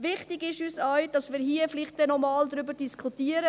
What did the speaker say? Wichtig ist auch, dass wir hier vielleicht noch einmal darüber diskutieren.